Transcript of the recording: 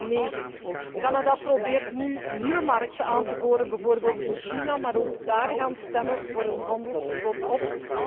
2009. Canada probeert nu nieuwe markten aan te boren, bijvoorbeeld in China, maar ook daar gaan stemmen voor een handelsverbod op.